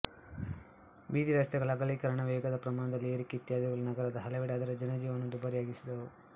ಬೀದಿರಸ್ತೆಗಳ ಅಗಲೀಕರಣವೇಗದ ಪ್ರಮಾಣದಲ್ಲಿನ ಏರಿಕೆ ಇತ್ಯಾದಿಗಳು ನಗರದ ಹಲವೆಡೆ ಅದರ ಜನಜೀವನವನ್ನು ದುಬಾರಿಯಾಗಿಸಿದವು